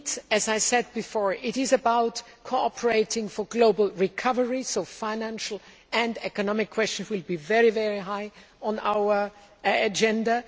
As I said before, it is about cooperating for global recovery, so financial and economic questions will be very high on our agenda.